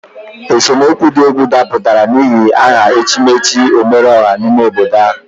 Esemokwu di egwu daputara n'ihi aha echimechi omereoha n'ime obodo ha.